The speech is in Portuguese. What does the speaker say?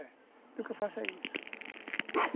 É. O que eu faço é isso.